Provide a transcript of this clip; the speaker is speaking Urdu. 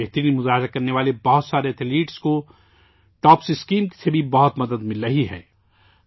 بہترین کارکردگی کا مظاہرہ کرنے والے کئی ایتھلیٹس کو ٹاپس اسکیم سے بھی کافی مدد مل رہی ہے